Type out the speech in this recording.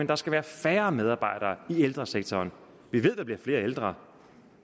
der skal være færre medarbejdere i ældresektoren og vi ved at der bliver flere ældre